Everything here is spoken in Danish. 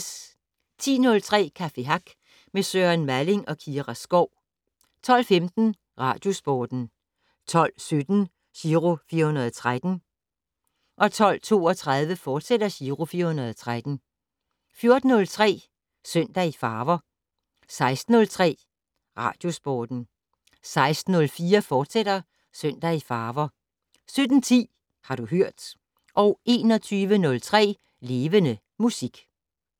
10:03: Café Hack med Søren Malling og Kira Skov 12:15: Radiosporten 12:17: Giro 413 12:32: Giro 413, fortsat 14:03: Søndag i farver 16:03: Radiosporten 16:04: Søndag i farver, fortsat 17:10: Har du hørt 21:03: Levende Musik